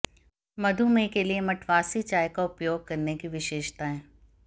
मधुमेह के लिए मठवासी चाय का उपयोग करने की विशेषताएं